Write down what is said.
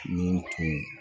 Nin tun